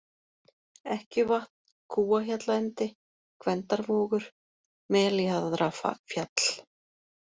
Ekkjuvatn, Kúahjallaendi, Gvendarvogur, Meljaðrafjall